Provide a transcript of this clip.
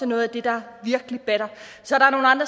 noget af det der virkelig batter så